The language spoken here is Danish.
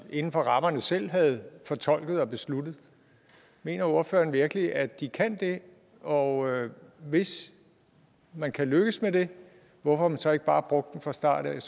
vi inden for rammerne selv havde fortolket og besluttet mener ordføreren virkelig at de kan det og hvis man kan lykkes med det hvorfor har man så ikke bare brugt dem fra starten